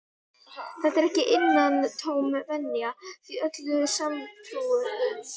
Þetta er ekki innantóm venja, því öllum sanntrúuðum